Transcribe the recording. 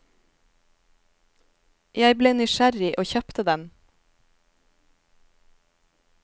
Jeg ble nysgjerrig og kjøpte den.